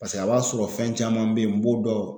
Paseke a b'a sɔrɔ fɛn caman be yen n b'o dɔn.